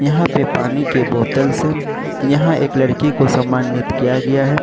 यहां पे पानी के बोतल्स है यहां एक लड़की को सम्मानित किया गया है।